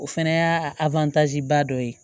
O fɛnɛ y'a ba dɔ ye